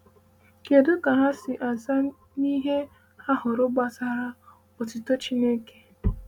“Kedu ka ha si aza n’ihe ha hụrụ gbasara otuto Chineke?”